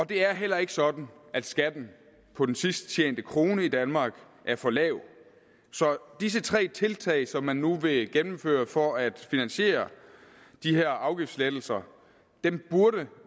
det er heller ikke sådan at skatten på den sidst tjente krone i danmark er for lav så disse tre tiltag som man nu vil gennemføre for at finansiere de her afgiftslettelser burde